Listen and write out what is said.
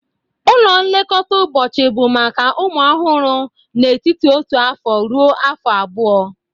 Ụlọ nlekọta ụbọchị bụ maka ụmụ ọhụrụ n'etiti otu afọ ruo afọ abụọ